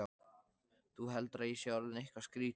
Þú heldur að ég sé orðinn eitthvað skrýtinn.